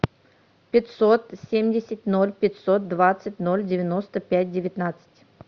пятьсот семьдесят ноль пятьсот двадцать ноль девяносто пять девятнадцать